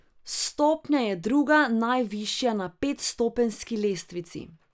Stopnja je druga najvišja na petstopenjski lestvici.